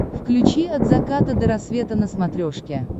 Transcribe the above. включи от заката до рассвета на смотрешке